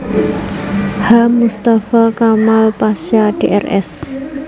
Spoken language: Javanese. H Mustafa Kamal Pasha Drs